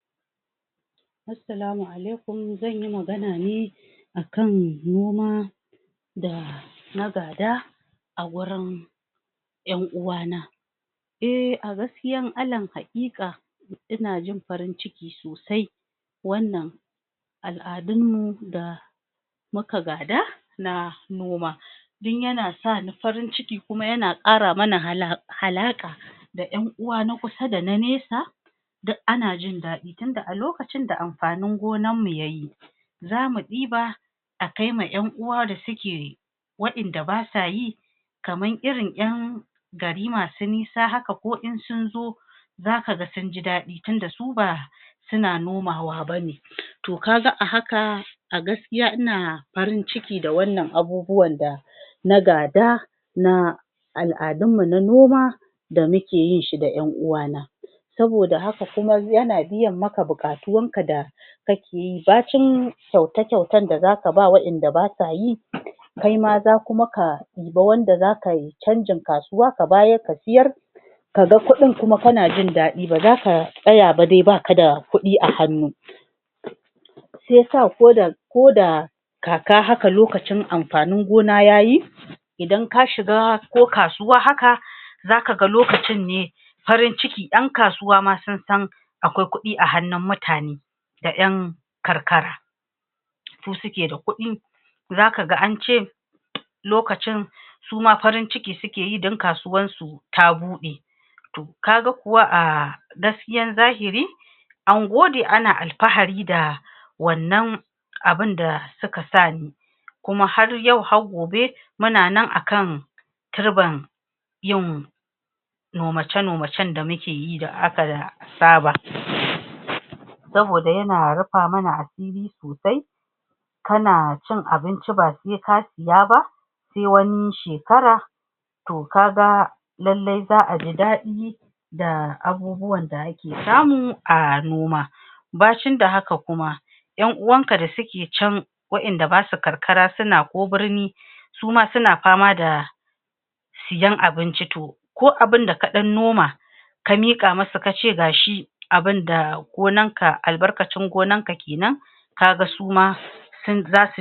Assalamu alaikum, Zanyi magana ne akan Noma da na gada a wurin 'yan uwana Eh, A gaskiyan alal haƙiƙa ina jin farin cikin sosai wannan Alladun mu da muka gada na Noma ni yana sani farin ciki kuma yana ƙara mana ala alaƙa da 'yan uwa na kusa dana nisa duk ana jin daɗi, tunda a lokacin da amfanin gonan mu yayi zamu ɗiba a kaima 'yan uwa da suke wa'yanda basa yi kamar irin 'yan gari masu nisa haka ko in sun zo za kaga sunji daɗi, tunda su ba suna nomawa bane to kaga a haka a gaskiya ina farin ciki da wannan abubuwan da na gada na al'adun mu na noma da muke yin shi da 'yan uwa na saboda haka kuma yana biyan maka buƙatun ka da kake yi, Bacin kyauta-kyautar da zaka bawa wa'yan da basa yi kai ma za kuma ka ɗiba wanda za kai canjin kasuwa, ka bayar ka siyar kaga kuɗin kuma kana jin daɗi, ba zaka tsaya ba dai baka da kuɗi a hannu shiyasa ko do ko da kaka haka lokacin amfanin gona yayi idan ka shiga ko kasuwa haka zaka ga lokacin ne farin ciki, ɗan kasuwa ma sun san akwai kuɗi a hannun mutane da 'yan karkara su suke da kuɗin zaka ga ance lokacin suma farin ciki suke yi, dan kasuwar su ta buɗe to kaga kuwa a gaskiyar zahiri an gode ana alfahari da wannan abun da suka sa ni kuma har yau, har gobe mun nan akan turban yin nomace nomacen da muke yi da aka saba saboda yana rufa mana asiri sosai kana cin abinci ba sai ka siya ba sai wani shekara to kaga lallai za'a ji daɗi da abubuwan da ake samu a noma bacin da haka kuma 'yan uwan ka da suke can wa'yan da basu karkara suna ko birni suma suna fama da siyan abinci, to ko abunda ka ɗan noma ka miƙa musu kace gashi abunda gonan ka, albarkacin gonan ka kenan kaga suma sun zasu